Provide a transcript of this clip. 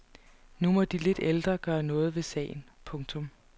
Nu må de lidt ældre gøre noget ved sagen. punktum